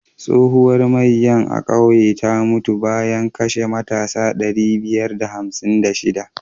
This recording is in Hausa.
Tsohuwar maiya a kauye ta mutu bayan kashe matasa ɗari biyar da hamsin da shiɗa.